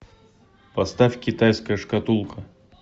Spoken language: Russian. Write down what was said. поставь китайская шкатулка